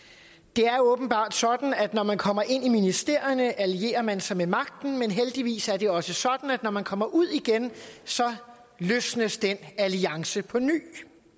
det er åbenbart sådan at når man kommer ind i ministerierne allierer man sig med magten men heldigvis er det også sådan at når man kommer ud igen løsnes den alliance på ny